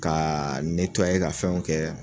Ka ka fɛnw kɛ